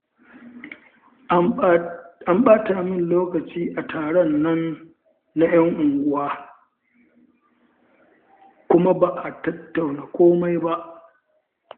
An ɓata min lokaci a taron nan na 'yan unguwa, kuma ba a tattauna komai ba